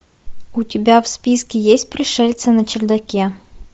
у тебя в списке есть пришельцы на чердаке